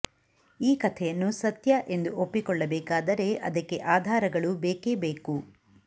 ಈ ಕಥೆಯನ್ನು ಸತ್ಯ ಎಂದು ಒಪ್ಪಿಕೊಳ್ಳಬೇಕಾದರೆ ಅದಕ್ಕೆ ಆಧಾರಗಳು ಬೇಕೇ ಬೇಕು